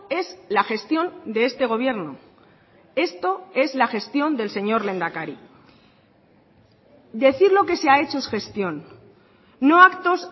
es la gestión de este gobierno esto es la gestión del señor lehendakari decir lo que se ha hecho es gestión no actos